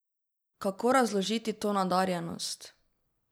Kako razložiti to nadarjenost?